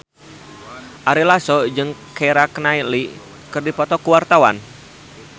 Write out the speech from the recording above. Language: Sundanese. Ari Lasso jeung Keira Knightley keur dipoto ku wartawan